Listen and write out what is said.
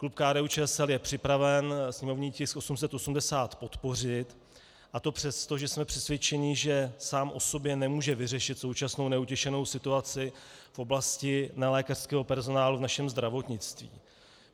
Klub KDU-ČSL je připraven sněmovní tisk 880 podpořit, a to přesto, že jsme přesvědčeni, že sám o sobě nemůže vyřešit současnou neutěšenou situaci v oblasti nelékařského personálu v našem zdravotnictví.